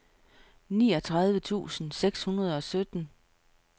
niogtredive tusind seks hundrede og sytten